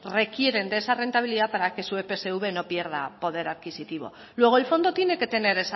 requieren de esa rentabilidad para que su epsv no pierda poder adquisitivo luego el fondo tiene que tener